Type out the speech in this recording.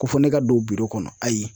Ko fɔ ne ka don kɔnɔ ayi.